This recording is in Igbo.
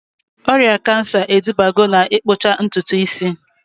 Ọrịa kansa edubago na-ikpụcha ntutu isi